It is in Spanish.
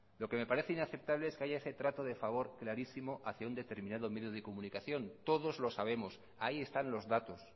lo que me parece inaceptable es que haya ese trato de favor clarísimo hacia un determinado medio de comunicación todos los sabemos ahí están los datos